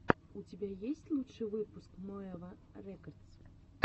у тебя есть лучший выпуск моэва рекодс